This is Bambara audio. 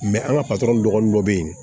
an ka dɔgɔnin dɔ bɛ yen